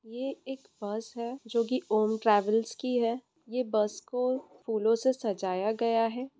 ये एक बस है जो कि ओम ट्रेवल्स की है ये बस को फूलों से सजाया गया है।